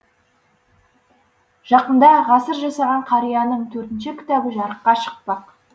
жақында ғасыр жасаған қарияның төртінші кітабы жарыққа шықпақ